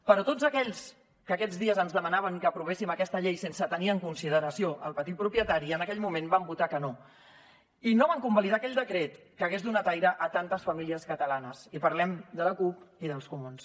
però tots aquells que aquests dies ens demanaven que aprovéssim aquesta llei sense tenir en consideració el petit propietari en aquell moment van votar que no i no van convalidar aquell decret que hagués donat aire a tantes famílies catalanes i parlem de la cup i dels comuns